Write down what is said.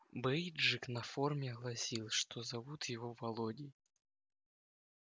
бейджик на форме гласил что зовут его володей